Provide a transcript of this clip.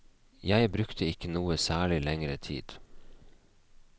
Jeg brukte ikke noe særlig lengre tid.